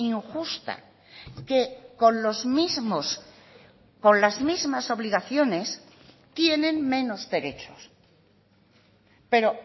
injusta que con los mismos con las mismas obligaciones tienen menos derechos pero